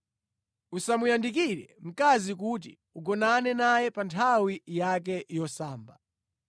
“ ‘Usamuyandikire mkazi kuti ugonane naye pa nthawi yake yosamba.